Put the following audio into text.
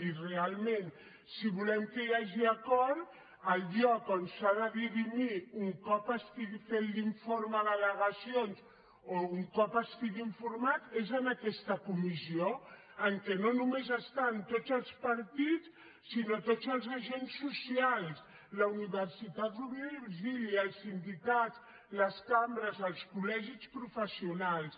i realment si volem que hi hagi acord el lloc on s’ha de dirimir un cop estigui fet l’informe d’al·legacions o un cop estigui informat és aquesta comissió en què no només hi ha tots els partits sinó tots els agents socials la universitat rovira i virgili els sindicats les cambres els col·legis professionals